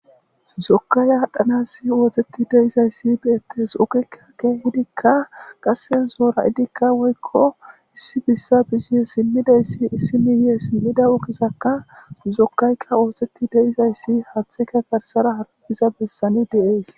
zokkaya adhanasi wooxeti deizayssi beyettes okekkakke hidikka qasse zoora idikka woykko issi bissa bizie simmidayssi issimiyee simmida okizakka zokkayka ooxeti deizayssi haaththeka garsara harabiza bessani deees